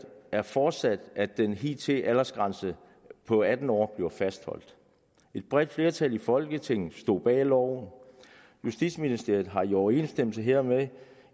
er forudsat at den hidtidige aldersgrænse på atten år blev fastholdt et bredt flertal i folketinget stod bag loven justitsministeren har i overensstemmelse hermed